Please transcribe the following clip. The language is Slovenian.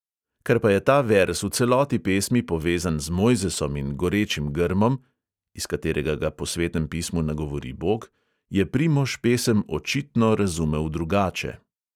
Ker pa je ta verz v celoti pesmi povezan z mojzesom in gorečim grmom (iz katerega ga po svetem pismu nagovori bog), je primož pesem očitno razumel drugače.